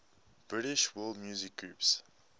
british world music groups